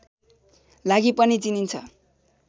लागि पनि चिनिन्छ